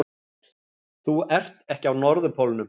Þú ert ekki á norðurpólnum!